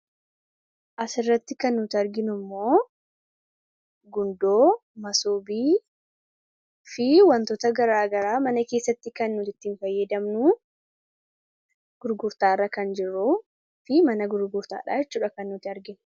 asirratti kan nuti arginu immoo gundoo masoobii fi wantoota garaagaraa mana keessatti kan nut ittiin fayyadamnu gurgurtaa irra kan jiruu fi mana gurgurtaadhaa chudha kan nuti arginu